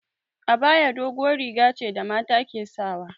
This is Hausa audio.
Abaya doguwar riga ce da mata ke sawa